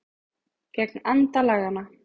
Gegn anda laganna